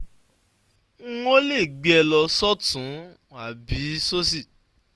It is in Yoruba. n ò lè gbé e lọ sọ́tún ún àbí sósì